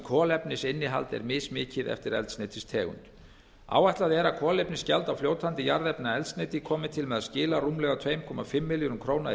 kolefnisinnihald er mismikið eftir eldsneytistegund áætlað er að kolefnisgjald á fljótandi jarðefnaeldsneyti komi til með að skila rúmlega tvö komma fimm milljörðum króna í